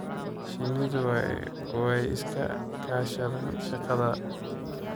Shinnidu way iska kaashadaan shaqada.